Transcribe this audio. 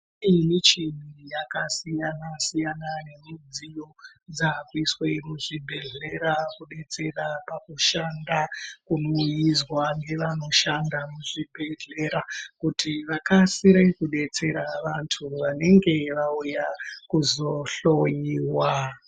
Kune michini yakasiyana siyana nemidziyo dzaakuiswa muzvibhedhlera kubetsera pakushanda kunoizwa ngevanoshanda muzvibhendlera kuti vakasire kudetsera vantu vanenge vauya kuzohloiwa.